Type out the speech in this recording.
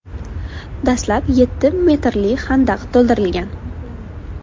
Dastlab yetti metrli xandaq to‘ldirilgan.